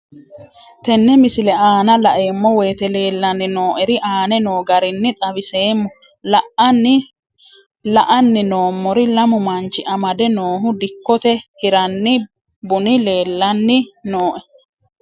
Tenne misile aana laeemmo woyte leelanni noo'ere aane noo garinni xawiseemmo. La'anni noomorri lamu manchi amade noohu dikkote hiranni buni leelanni nooe.